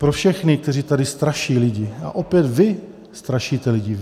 Pro všechny, kteří tady straší lidi - a opět, vy strašíte lidi.